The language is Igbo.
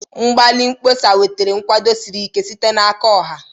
Mgbalị mkpọsa wetara nkwado siri ike site n'aka ọha.